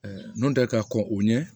n'o tɛ ka kɔn o ɲɛ